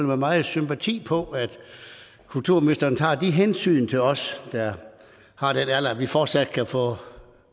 med meget sympati på at kulturministeren tager de hensyn til os der har den alder at vi fortsat kan få